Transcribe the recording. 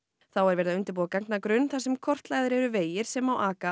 þá er verið að undirbúa gagnagrunn þar sem kortlagðir eru vegir sem aka